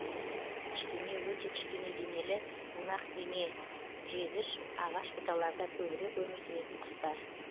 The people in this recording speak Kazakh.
кішкене өте кішкене денелі бунақденежегіш ағаш бұталарда көбірек өмір сүретін құстар